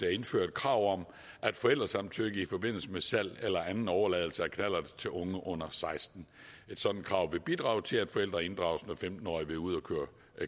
at indføre et krav om forældresamtykke i forbindelse med salg eller anden overladelse af knallert til unge under seksten et sådant krav vil bidrage til at forældrene inddrages når femten årige vil ud at køre